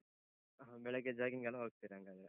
ಹ. ಬೆಳಿಗ್ಗೆ jogging ಗೆಲ್ಲ ಹೋಗ್ತೀರ ಹಂಗಾದ್ರೆ?